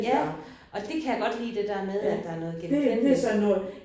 Ja. Og det kan jeg godt lide der der med at der er noget genkendeligt